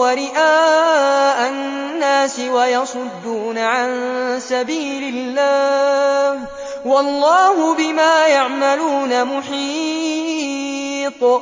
وَرِئَاءَ النَّاسِ وَيَصُدُّونَ عَن سَبِيلِ اللَّهِ ۚ وَاللَّهُ بِمَا يَعْمَلُونَ مُحِيطٌ